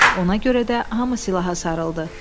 Ona görə də hamı silaha sarıldı.